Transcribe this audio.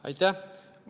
Aitäh!